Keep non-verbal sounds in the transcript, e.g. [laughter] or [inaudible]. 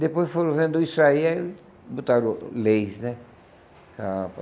Depois foram vendo isso aí, aí botaram leis né. [unintelligible]